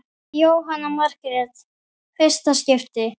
Jóhanna Margrét: Fyrsta skipti?